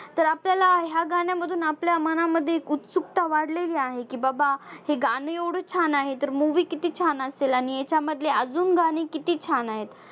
तर आपल्याला ह्या गाण्यामधून आपल्या मनामध्ये उत्सुकता वाढलेली आहे की बाबा हे गाणं एवढं छान आहे तर movie किती छान असेल आणि हेच्यामधले अजून गाणी किती छान आहेत?